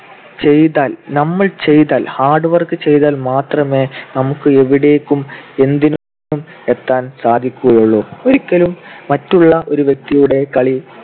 ചെയ്‌താൽ നമ്മൾ ചെയ്‌താൽ hard work ചെയ്‌താൽ മാത്രമേ നമുക്ക് എവിടേക്കും എന്തിനും എത്താൻ സാധിക്കുകയുള്ളു. ഒരിക്കലും മറ്റുള്ള ഒരു വ്യക്തിയുടെ കളി